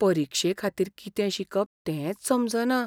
परिक्षेखातीर कितें शिकप तेंच समजना.